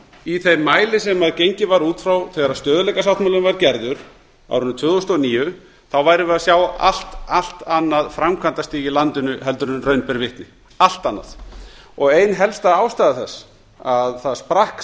í þeim mæli sem gengið var út frá þegar stöðugleikasáttmálinn var gerður á árinu tvö þúsund og níu værum við að sjá allt annað framkvæmdastig í landinu en raun ber vitni og ein helsta ástæða þess að